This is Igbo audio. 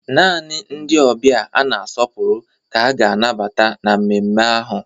Naanị ndị ọbịa a na-asọpụrụ ka a ga-anabata na mmemme ahụ